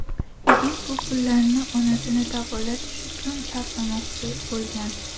Yigit bu pullarni onasini davolatish uchun sarflamoqchi bo‘lgan.